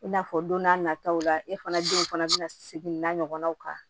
I n'a fɔ don n'a nataw la e fana denw fana bɛna segin n'a ɲɔgɔnnaw kan